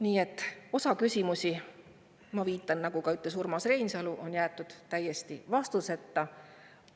Nii et osa küsimusi – ma viitan, nagu ütles ka Urmas Reinsalu – on jäetud täiesti vastuseta.